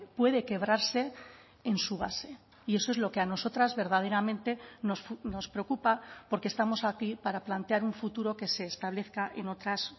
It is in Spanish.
puede quebrarse en su base y eso es lo que a nosotras verdaderamente nos preocupa porque estamos aquí para plantear un futuro que se establezca en otras